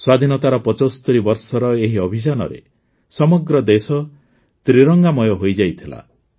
ସ୍ୱାଧୀନତାର ୭୫ ବର୍ଷର ଏହି ଅଭିଯାନରେ ସମଗ୍ର ଦେଶ ତ୍ରିରଙ୍ଗାମୟ ହୋଇଯାଇଥିଲା